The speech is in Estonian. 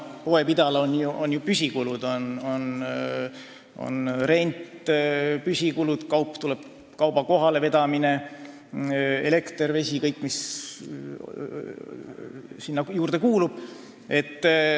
Poepidajal on ju püsikulud: on rent, kauba kohalevedu, elekter, vesi ja kõik muu, mis sinna juurde kuulub.